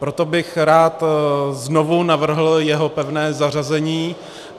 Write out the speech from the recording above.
Proto bych rád znovu navrhl jeho pevné zařazení.